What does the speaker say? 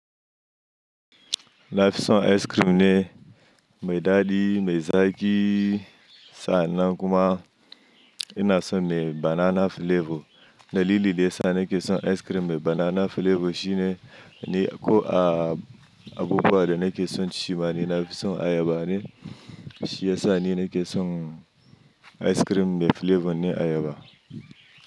Nafi son ice cream ne mai daɗi mai zaƙi sa'annan kuma ina son mai banana flavor. Dalili da yasa na ke son ice cream mai banana flavor shine ni ko a abubuwa da nake son ci ma ni Nafi son ayaba ne shiyasa ni nake son ice cream mai flavor ne ayaba.